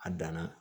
A danna